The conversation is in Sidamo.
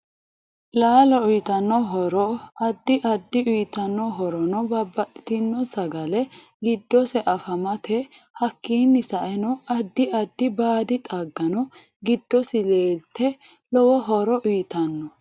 Laalo uyiitano horo addi addite uyiitanno horono babbaxitino sagale gidsose afamate hakiini sa'eno addi addi baadi xaagano giddosi leelate lowo horo uyiitanno